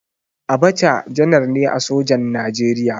Abacha janar ne a sojan Najeriya.